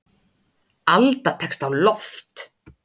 Alda tekst á loft.